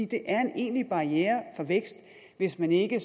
det er en egentlig barriere for vækst hvis man ikke